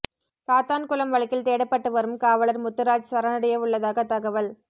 சாத்தான்குளம் வழக்கில் தேடப்பட்டு வரும் காவலர் முத்துராஜ் சரணடைய உள்ளதாக தகவல்